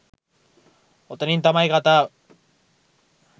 ඔතනින් තමයි කතාව